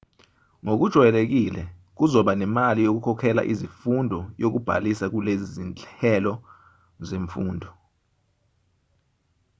ngokujwayelekile kuzoba nemali yokukhokhela izifundo yokubhalisa kulezi zinhelo zemfundo